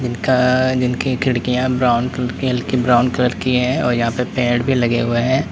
जिनका जिनकी खिड़कियां ब्राउन कलर की हल्की ब्राउन कलर हैं और यहां पे पेड़ भी लगे हुए हैं।